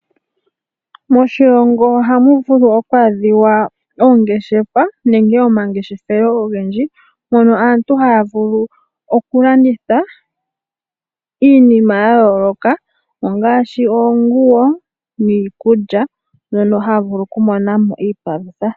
Moshilongo ohamu vulu oku adhika oongeshefa nenge omangeshefelo ogendji mpono aantu haya vulu okulanditha iinima ya yooloka ngaashi oonguwo nenge iikulya mono haya vulu okumona mo iipalutha.